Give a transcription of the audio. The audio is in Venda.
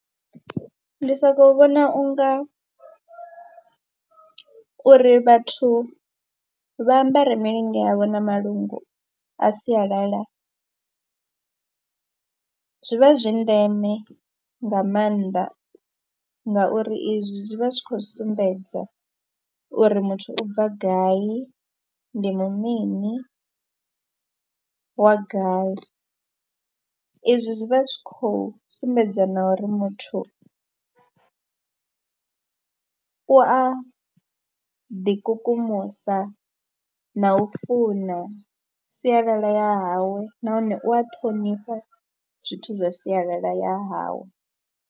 Ndi sokou vhona u nga uri vhathu vha ambare milinga yavho na malungu a sialala zwi vha zwi ndeme nga maanḓa ngauri izwi zwi vha zwi khou sumbedza uri muthu u bva gai, ndi mu mini, wa gai. Izwi zwi vha zwi khou sumbedza na uri muthu u a ḓikukumusa na u funa sialala ya hawe nahone u a ṱhonifha zwithu zwa sialala ya hawe.